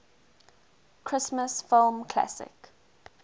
christmas film classic